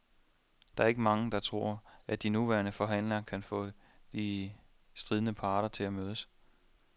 Der er ikke mange, der tror, at de nuværende forhandlere kan få de stridende parter til at mødes.